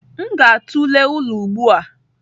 M ga-atụle ụlọ ugbu a.